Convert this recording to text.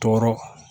Tɔɔrɔ